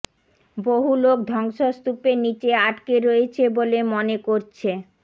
বহু লোক ধ্বংসস্তূপের নিচে আটকে রয়েছে বলে মনে করছে